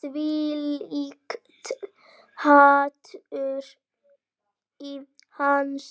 Þvílíkt hatur í hans